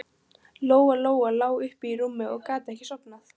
Lóa Lóa lá uppi í rúmi og gat ekki sofnað.